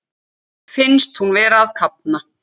Finnst hún vera að kafna.